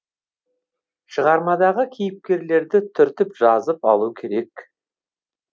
шығармадағы кейіпкерлерді түртіп жазып алу керек